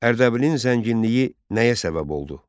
Ərdəbilin zənginliyi nəyə səbəb oldu?